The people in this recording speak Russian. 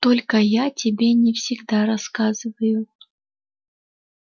только я тебе не всегда рассказываю